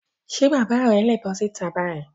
Ṣé bàbá rẹ̀ le bọ́ síta báyìí?